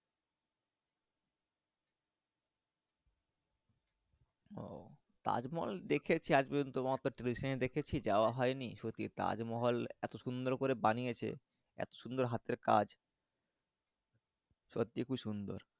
ও তাজমহল দেখেছি আজ পর্যন্ত দেখেছি যাওয়া হয়নি সত্যি তাজমহল এত সুন্দর করে বানিয়েছে এত সুন্দর হাতের কাজ সত্যি খুব সুন্দর।